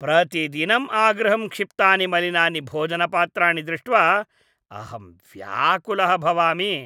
प्रतिदिनं आगृहं क्षिप्तानि मलिनानि भोजनपात्राणि दृष्ट्वा अहं व्याकुलः भवामि।